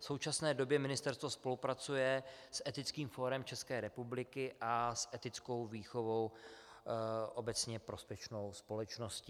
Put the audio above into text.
V současné době ministerstvo spolupracuje s Etickým fórem České republiky a s Etickou výchovou, obecně prospěšnou společností.